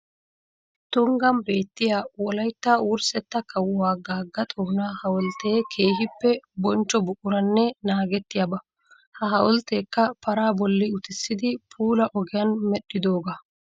Tunggan beettiya wolaytta wurssetta kawuwa Gaga Xoona hawulitte keehippe bonchcho buquranne naagetiyaba. Ha hawulittekka paraa bolli uttissidi puula ogiyan medhdhidooga.